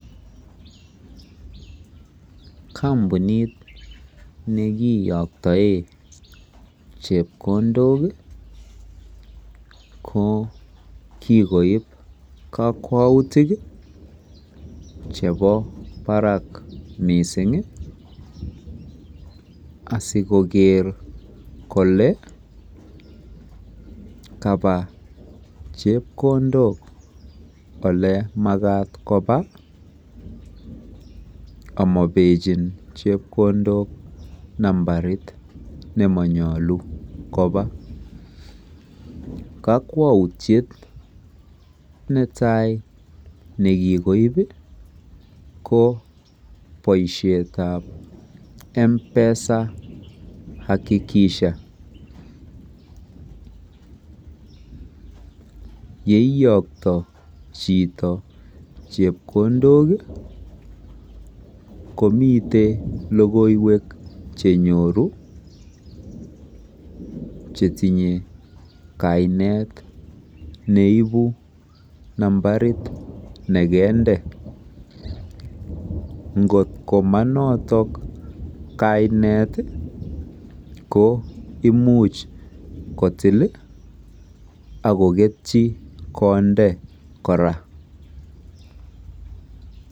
Kompunit nekiyoktoe chepkondok ko kikoib kokwoutik chebo barak missing asikoker kole kaba chepkondok ole makat koba amobechin chepkondok nambarit nemonyolu koba. Kokwoutye netai nekikobi ko boishetab M'PESA akikisha yeiyokto chito chepkondok komiten lokoiwek cheiyoku chetinye kainet neibu nambarit nekende ngokto monoton kainet komuch kotil akoketyi konde Koraa.